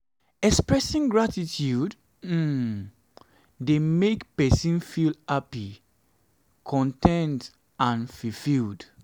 expressing gratitude um dey make pesin feel happy con ten t and fulfilled.